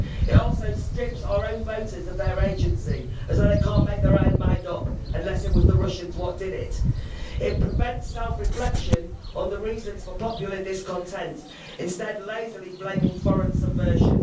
It also strips our own voters of their agency, as though they can't make their own mind up unless it was the Russians what did it. It prevents self reflection on the reasons for popular discontent, instead lazily blaming foreign subversion.